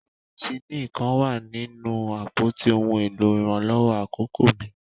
Penisillini kan wa ninu apoti ohun elo iranlọwọ akọkọ mi.